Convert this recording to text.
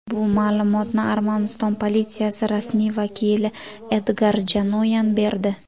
Bu ma’lumotni Armaniston politsiyasi rasmiy vakili Edgar Janoyan berdi.